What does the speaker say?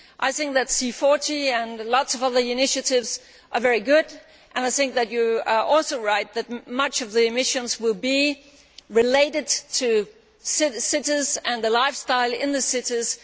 I think that C40 and lots of other initiatives are very good, and you are also right that much of the emissions will be related to cities and lifestyle in the cities.